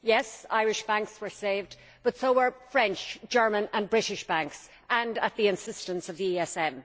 Yes, Irish banks were saved but so were French, German and British banks, and at the insistence of the ESM.